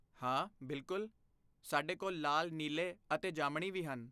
ਹਾਂ, ਬਿਲਕੁਲ, ਸਾਡੇ ਕੋਲ ਲਾਲ, ਨੀਲੇ ਅਤੇ ਜਾਮਣੀ ਵੀ ਹਨ